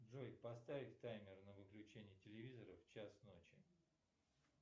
джой поставь таймер на выключение телевизора в час ночи